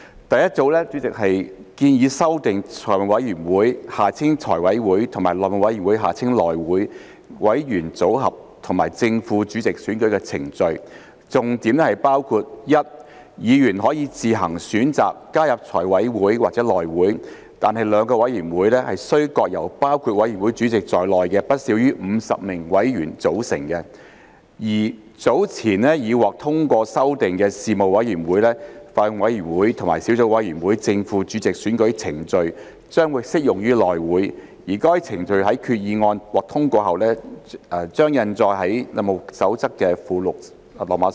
第一組的修訂建議修訂財務委員會和內會委員組合和正副主席選舉程序，重點包括 ：a 議員可以自行選擇加入財委會或內會，但兩個委員會須各由包括委員會主席在內的不少於50名委員組成；及 b 早前已獲通過修訂的事務委員會、法案委員會和小組委員會的正副主席選舉程序將適用於內會，該程序在決議案獲通過後將印載於《內務守則》附錄 IV。